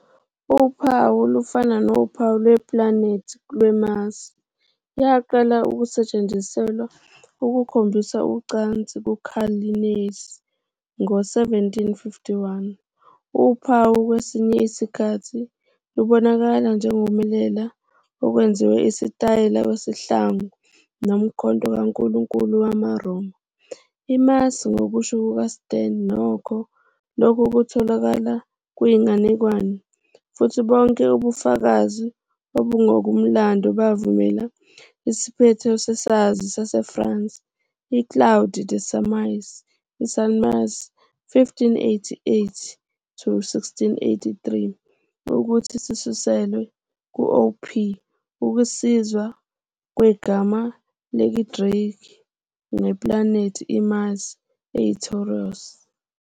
Uphawu lufana nophawu lweplanethi lweMars. Yaqala ukusetshenziselwa ukukhombisa ucansi nguCarl Linnaeus ngo-1751. Uphawu kwesinye isikhathi lubonakala njengokumelela okwenziwe isitayela kwesihlangu nomkhonto kankulunkulu wamaRoma. IMars. Ngokusho kukaStearn, nokho, lokhu kutholakala "kuyinganekwane" futhi bonke ubufakazi obungokomlando buvumela "isiphetho sesazi saseFrance uClaude de Saumaise, Salmasius, 1588-1683" ukuthi "sisuselwe" ku-θρ, ukusikwa kwegama lesiGreki ngeplanethi iMars, "eyiThouros".